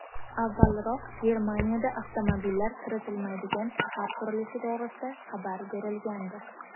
Avvalroq Germaniyada avtomobillar kiritilmaydigan shahar qurilishi to‘g‘risida xabar berilgandi .